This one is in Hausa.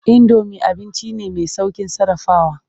Indomi abinci ne mai sauƙin sarrafawa.